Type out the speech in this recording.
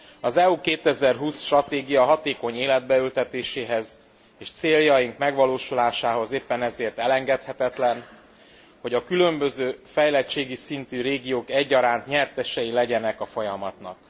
Az EU 2020 stratégia hatékony életbe ültetéséhez és céljai megvalósulásához éppen ezért elengedhetetlen, hogy a különböző fejlettségi szintű régiók egyaránt nyertesei legyenek a folyamatnak.